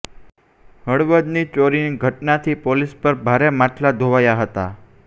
હળવદની ચોરીની ઘટનાથી પોલીસ પર ભારે માછલા ધોવાયા હતા